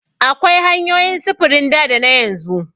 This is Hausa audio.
Akwai hanyoyin sufurin da dana yanzu.